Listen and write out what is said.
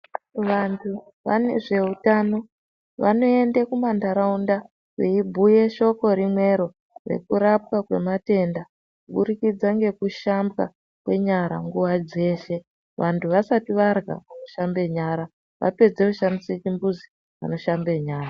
Vantu vezveutano vanoende kumantaraunda veibhuye shoko rimwero rekurapwa kwematenda kuburikidza ngekushambwa kwenyara nguwa dzeshe. Vantu vasati varya vanoshambe nyara, vapedza kushandisa chimbuzi vanoshamba nyara.